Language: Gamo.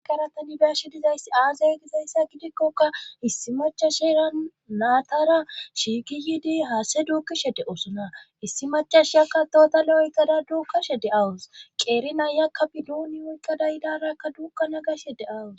agaratanibiashe dizayssi aazay gizayssa gidikkoka issi macashera naatara shiigi yiidi haase duukishe de oosona issi macashi yakka dootalo oykkada duukashe de awus qeeri nayakka bidduuni woykkada yidarakka duukka nagashe deawus